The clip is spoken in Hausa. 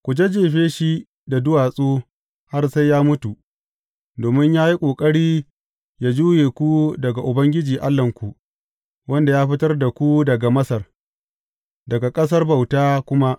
Ku jajjefe shi da duwatsu har sai ya mutu, domin ya yi ƙoƙari yă juye ku daga Ubangiji Allahnku, wanda ya fitar da ku daga Masar, daga ƙasar bauta kuma.